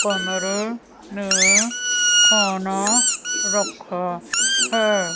कमरे में खाना रखा हैं।